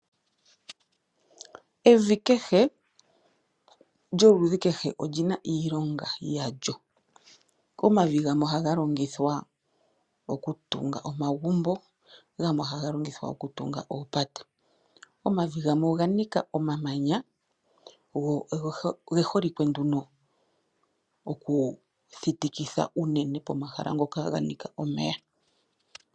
Evi kehe lyoludhi kehe olyina iilonga yalyo . Omavi gamwe ohaga longithwa oku tunga omagumbo gamwe ohaga longithwa oku tunga oopate. Omavi gamwe oganika omamanya go geholike nduno oku thitikitha unene pomahala ngoka ganika omeya.